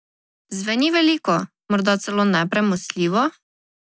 Zveni veliko, morda celo nepremostljivo?